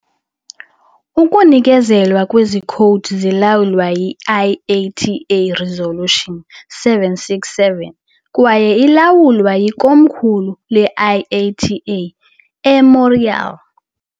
Ukunikezelwa kwezi khowudi zilawulwa yi-IATA Resolution 767, kwaye ilawulwa yikomkhulu le-IATA eMontreal .